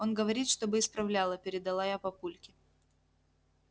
он говорит чтобы исправляла передала я папульке